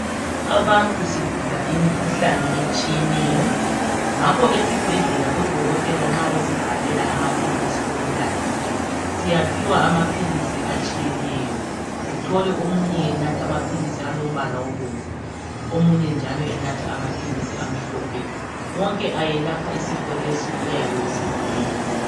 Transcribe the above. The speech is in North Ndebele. Abantu sigula imikhuhlane etshiyeneyo. Ngakho esibhedlela odokotela nxa besibhalela amaphilisi okunatha .Siyaphiwa amaphilisi atshiyeneyo .Uthole omunye enatha amaphilisi alombala obomvu ,omunye njalo enatha amaphilisi amhlophe. Wonke ayelapha isifo lesi oyabe usigula .